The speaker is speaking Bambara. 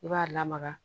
I b'a lamaga